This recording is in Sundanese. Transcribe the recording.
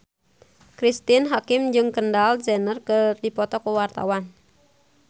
Cristine Hakim jeung Kendall Jenner keur dipoto ku wartawan